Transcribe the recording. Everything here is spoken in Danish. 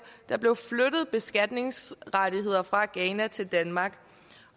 der blev flyttet beskatningsrettigheder fra ghana til danmark